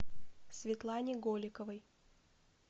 светлане голиковой